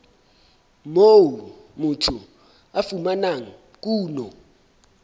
moo motho a fumanang kuno